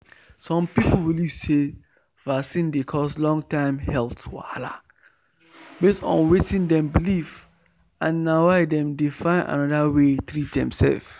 some people believe say vaccine dey cause long-term health wahala based on wetin dem believe and na why dem dey find another way treat themselves.